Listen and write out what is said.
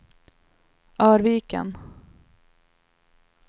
Örviken